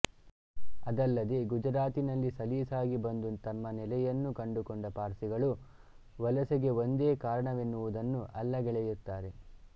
ಅದಲ್ಲದೇ ಗುಜರಾತಿನಲ್ಲಿ ಸಲೀಸಾಗಿ ಬಂದು ತಮ್ಮ ನೆಲೆಯನ್ನು ಕಂಡುಕೊಂಡ ಪಾರ್ಸಿಗಳು ವಲಸೆಗೆ ಒಂದೇ ಕಾರಣವೆನ್ನುವುದನ್ನು ಅಲ್ಲಗಳೆಯುತ್ತಾರೆ